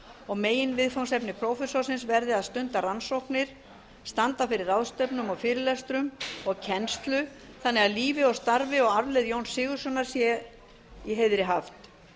og meginviðfangsefni prófessorsins verði að stunda rannsóknir standa fyrir ráðstefnum og fyrirlestrum og kennslu þannig að lífi og starfi of arfleifð jóns sigurðssonar sé í heiðri haft